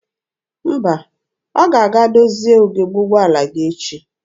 Mba, ọ ga-aga dozie ugebe ụgbọala gị echi.